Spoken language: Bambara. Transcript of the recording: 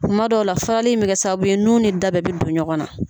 Kuma dɔ la farali in bɛ kɛ sababu ye nun ni da bɛɛ bɛ don ɲɔgɔn na.